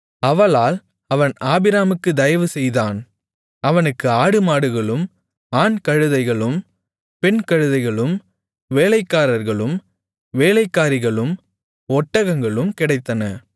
அவளால் அவன் ஆபிராமுக்குத் தயவு செய்தான் அவனுக்கு ஆடுமாடுகளும் ஆண் கழுதைகளும் பெண் கழுதைகளும் வேலைக்காரர்களும் வேலைக்காரிகளும் ஒட்டகங்களும் கிடைத்தன